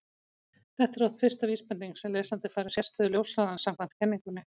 Þetta er oft fyrsta vísbendingin sem lesandi fær um sérstöðu ljóshraðans samkvæmt kenningunni.